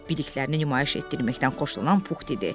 Bildiklərini nümayiş etdirməkdən xoşlanan Puxdur.